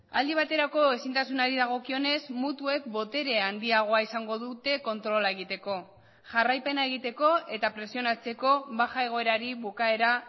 aldi baterako ezintasunari dagokionez mutuek botere handiagoa izango dute kontrola egiteko jarraipena egiteko eta presionatzeko baja egoerari bukaera